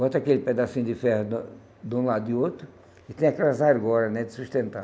Bota aquele pedacinho de ferro de um de um lado e outro, e tem aquelas argola, né, de sustentar.